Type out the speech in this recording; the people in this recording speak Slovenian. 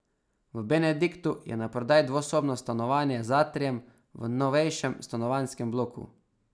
V Benediktu je naprodaj dvosobno stanovanje z atrijem v novejšem stanovanjskem bloku.